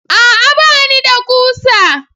A'a! Ba ni da ƙusa.